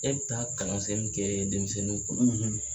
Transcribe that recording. E bɛ taa kalansen min kɛ denmisɛnninw kunna,